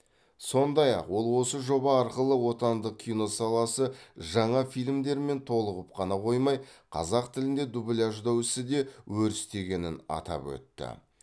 сондай ақ ол осы жоба арқылы отандық кино саласы жаңа фильмдермен толығып қана қоймай қазақ тілінде дубляждау ісі де өрістегенін атап өтті